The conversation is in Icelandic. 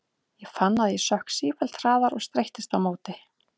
Ég fann að ég sökk sífellt hraðar og streittist á móti.